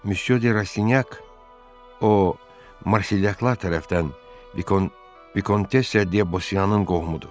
Müsyö de Rastinyak, o Marselyaklar tərəfdən Vikontes de Bosiyanın qohumudur.